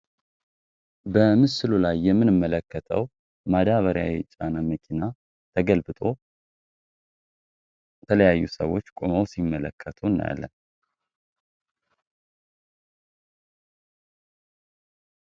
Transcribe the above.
በምስሉ ላይ የምንመለከተው ማዳበሪያ ጫና መኪና ተገልብጦ ተለያዩ ሰዎች ቁመው ሲመለከቱ እናያለን።